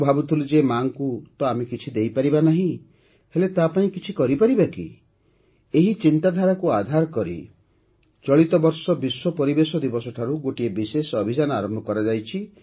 ମୁଁ ଭାବୁଥିଲି ଯେ ମା'ଙ୍କୁ ତ ଆମେ କିଛି ଦେଇପାରିବା ନାହିଁ ହେଲେ ତା'ପାଇଁ କିଛି କରିପାରିବା କି ଏହି ଚିନ୍ତାଧାରାକୁ ଆଧାର କରି ଚଳିତ ବର୍ଷ ବିଶ୍ୱ ପରିବେଶ ଦିବସଠାରୁ ଗୋଟିଏ ବିଶେଷ ଅଭିଯାନ ଆରମ୍ଭ କରାଯାଇଛି